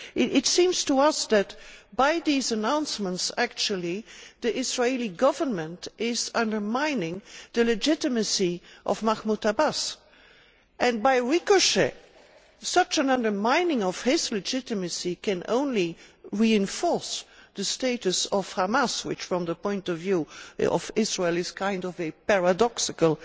It seems to us that, with these announcements, the Israeli Government is undermining the legitimacy of Mahmud Abbas and by extension, such an undermining of his legitimacy can only reinforce the status of Hamas, which from the point of view of Israel is a rather paradoxical